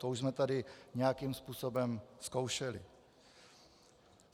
To už jsme tady nějakým způsobem zkoušeli.